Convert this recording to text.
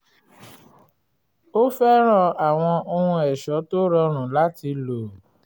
ó fẹ́ràn àwọn ohun ẹ̀ṣọ́ tó rọrùn láti lò